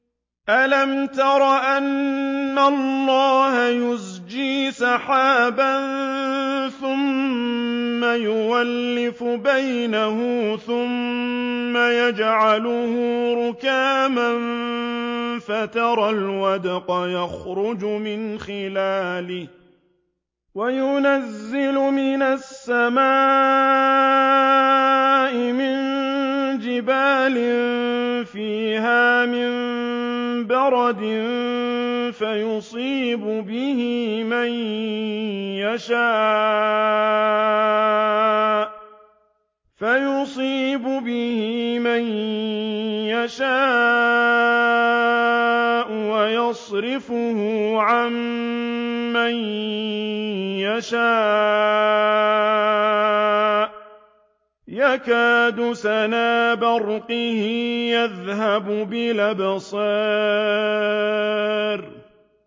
أَلَمْ تَرَ أَنَّ اللَّهَ يُزْجِي سَحَابًا ثُمَّ يُؤَلِّفُ بَيْنَهُ ثُمَّ يَجْعَلُهُ رُكَامًا فَتَرَى الْوَدْقَ يَخْرُجُ مِنْ خِلَالِهِ وَيُنَزِّلُ مِنَ السَّمَاءِ مِن جِبَالٍ فِيهَا مِن بَرَدٍ فَيُصِيبُ بِهِ مَن يَشَاءُ وَيَصْرِفُهُ عَن مَّن يَشَاءُ ۖ يَكَادُ سَنَا بَرْقِهِ يَذْهَبُ بِالْأَبْصَارِ